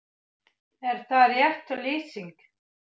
Er það rétt lýsing?